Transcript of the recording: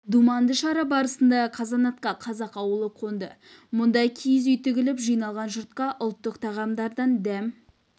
думанды шара барысында қазанатқа қазақ ауылы қонды мұнда киіз үй тігіліп жиналған жұртқа ұлттық тағамдардан дәм